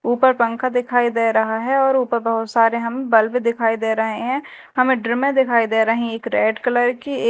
ऊपर पंखा दिखाई दे रहा है और ऊपर बहोत सारे हम बल्ब दिखाई दे रहे हैं हमें ड्रामे में दिखाई दे रहे हैं एक रेड कलर की--